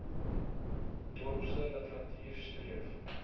dorpse literatuur streef